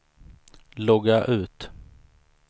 logga ut